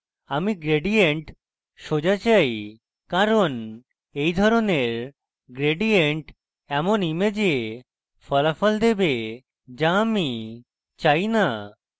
আমি gradient সোজা চাই কারণ এই ধরনের gradient এমন image ফলাফল দেবে যা আমি চাই না